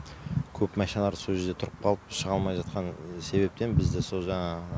көп машиналар сол жерде тұрып қалып шыға алмай жатқан себептен бізді сол жаңа